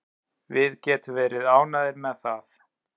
Við getum verið ánægðir með það.